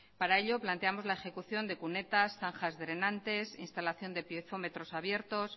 para ello planteamos la ejecución de cunetas zanjas drenantes instalación de piezómetros abiertos